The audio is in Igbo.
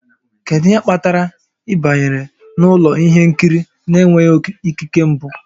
Kedu ihe kpatara ị banyere n'ụlọ ihe nkiri na-enweghị ikike mbụ?